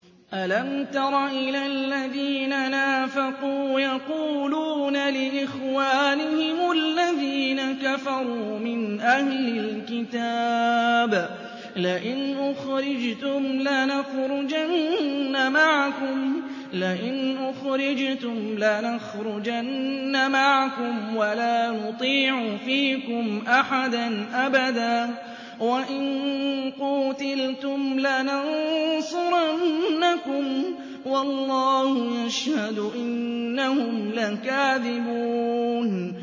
۞ أَلَمْ تَرَ إِلَى الَّذِينَ نَافَقُوا يَقُولُونَ لِإِخْوَانِهِمُ الَّذِينَ كَفَرُوا مِنْ أَهْلِ الْكِتَابِ لَئِنْ أُخْرِجْتُمْ لَنَخْرُجَنَّ مَعَكُمْ وَلَا نُطِيعُ فِيكُمْ أَحَدًا أَبَدًا وَإِن قُوتِلْتُمْ لَنَنصُرَنَّكُمْ وَاللَّهُ يَشْهَدُ إِنَّهُمْ لَكَاذِبُونَ